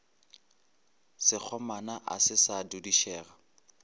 sekgomana a se sa dudišega